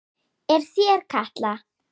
Er þér kalt?